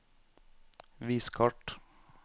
vis kart